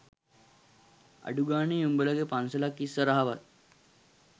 අඩු ගානේ උඹලගේ පන්සලක් ඉස්සරහවත්